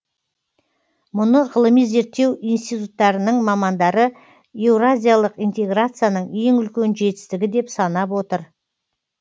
мұны ғылыми зерттеу институттарының мамандары еуразиялық интеграцияның ең үлкен жетістігі деп санап отыр